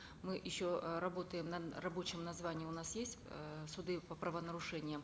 мы еще э работаем рабочее название у нас есть э суды по правонарушениям